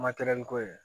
Matɛrɛli ko ye